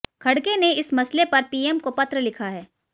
खड़गे ने इस मसले पर पीएम को पत्र लिखा है